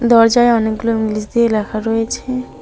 দরজায় অনেকগুলো ইংলিশ দিয়ে ল্যাখা রয়েছে।